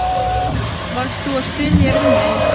Varst þú að spyrja um mig?